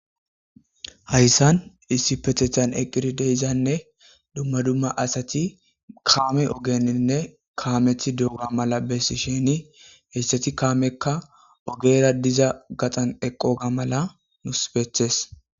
Hayssan issi pethethan eqqirideyzanne dumma dumma asati kaame ogeninne kaameti dugga mala bessi sheni heyssati kaamekka ogera diza gaxan eqoga mala nus betes.